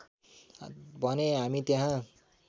भने हामी त्यहाँ